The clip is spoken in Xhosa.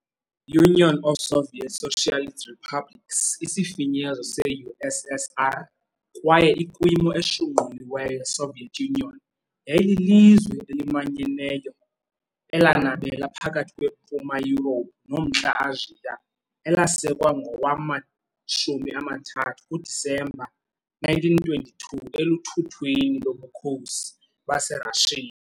Union of Soviet Socialist Republics, isifinyezo se-USSR kwaye ikwimo eshunquliweyo yeSoviet Union, yayililizwe elimanyeneyo elanabela phakathi kweMpuma Yurophu noMntla Asia, elasekwa ngowama-30 kuDisemba 1922 eluthuthwini loBukhosi baseRashiya .